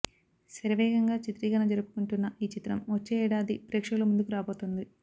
శరవేగంగా చిత్రీకరణ జరుపుకుంటున్న ఈ చిత్రం వచ్చే ఏడాది ప్రేక్షకుల ముందుకు రాబోతోంది